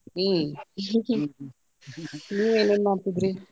ಹ್ಮ್, ನೀವ್ ಏನೇನ್ ಮಾಡ್ತಿದ್ರೀ?